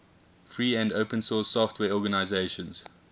free and open source software organizations